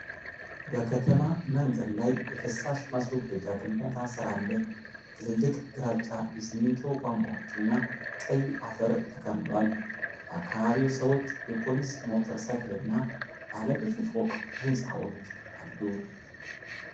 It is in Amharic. በከተማ መንገድ ላይ የፍሳሽ ማስወገጃ ግንባታ ሥራ አለ። ትልልቅ ግራጫ የሲሚንቶ ቧንቧዎችና ቀይ አፈር ተከምሯል። በአካባቢው ሰዎች፣ የፖሊስ ሞተር ሳይክልና ባለ ብዙ ፎቅ ሕንፃዎች አሉ።